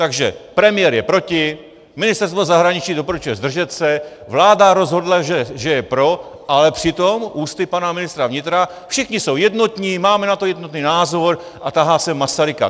Takže premiér je proti, ministerstvo zahraničí doporučuje zdržet se, vláda rozhodla, že je pro, ale přitom ústy pana ministra vnitra všichni jsou jednotní, máme na to jednotný názor, a tahá sem Masaryka.